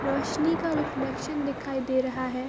रोशनी का रिफ्लेक्शन दिखाई दे रहा है।